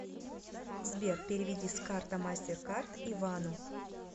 сбер переведи с карта мастеркард ивану